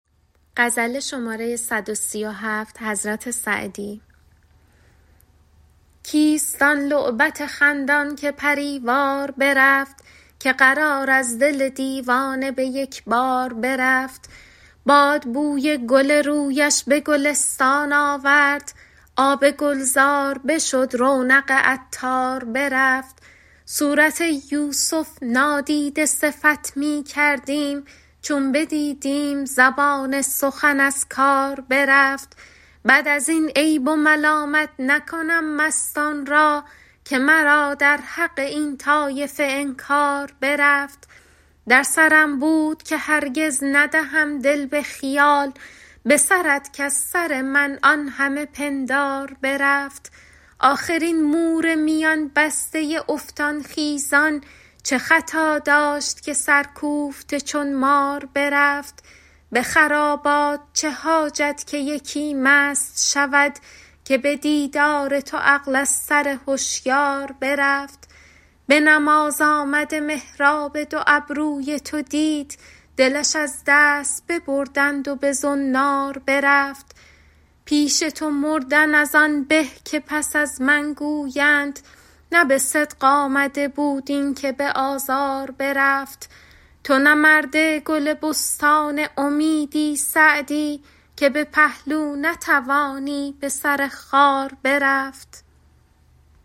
کیست آن لعبت خندان که پری وار برفت که قرار از دل دیوانه به یک بار برفت باد بوی گل رویش به گلستان آورد آب گلزار بشد رونق عطار برفت صورت یوسف نادیده صفت می کردیم چون بدیدیم زبان سخن از کار برفت بعد از این عیب و ملامت نکنم مستان را که مرا در حق این طایفه انکار برفت در سرم بود که هرگز ندهم دل به خیال به سرت کز سر من آن همه پندار برفت آخر این مور میان بسته افتان خیزان چه خطا داشت که سرکوفته چون مار برفت به خرابات چه حاجت که یکی مست شود که به دیدار تو عقل از سر هشیار برفت به نماز آمده محراب دو ابروی تو دید دلش از دست ببردند و به زنار برفت پیش تو مردن از آن به که پس از من گویند نه به صدق آمده بود این که به آزار برفت تو نه مرد گل بستان امیدی سعدی که به پهلو نتوانی به سر خار برفت